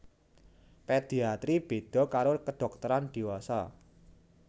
Pediatri béda karo kedhokteran diwasa